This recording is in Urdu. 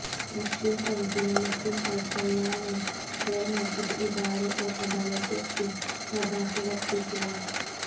مسلم تنظیمیں مسلم پرسنل لا میں غیرمذہبی اداروں اورعدالتوں کی مداخلت کے خلاف